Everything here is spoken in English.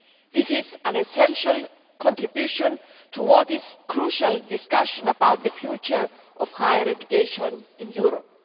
This is an essential contribution to what is a crucial discussion about the future of higher education in Europe.